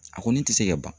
A kɔni tɛ se ka ban